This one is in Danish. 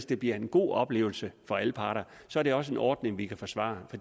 det bliver en god oplevelse for alle parter og så er det også en ordning vi kan forsvare